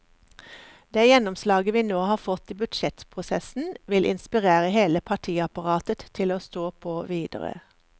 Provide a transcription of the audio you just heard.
Det gjennomslaget vi nå har fått i budsjettprosessen, vil inspirere hele partiapparatet til å stå på videre.